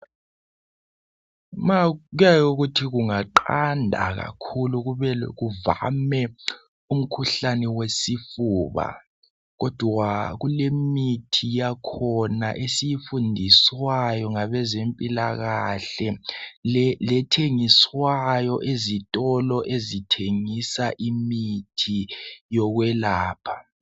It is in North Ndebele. Kuyake kuthi kungaqanda kakhulu kuvame umkhuhlane wesifuba kodwa kulemithi yakhona esiyifundiswayo ngabezempilakahle lethengiswayo ezitolo ezithengisa imithi yokwelapha.